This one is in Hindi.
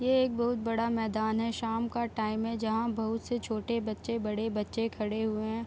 यह एक बहुत बड़ा मैदान है शाम का टाइम है जहाँ बहुत से छोटे बच्चे बड़े बच्चे खड़े हुए हैं।